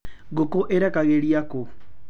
Ngũkũ ĩrekagĩria kũũ?